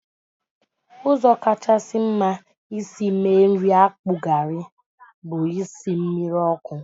Ụzọ kacha mma isi mee nri akpu garri bụ isi mmiri ọkụ